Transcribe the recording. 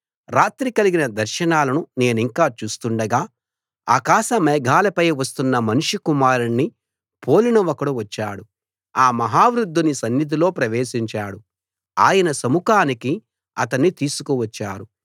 రాత్రి కలిగిన దర్శనాలను నేనింకా చూస్తుండగా ఆకాశ మేఘాలపై వస్తున్న మనుష్య కుమారుణ్ణి పోలిన ఒకడు వచ్చాడు ఆ మహా వృద్ధుని సన్నిధిలో ప్రవేశించాడు ఆయన సముఖానికి అతణ్ణి తీసుకు వచ్చారు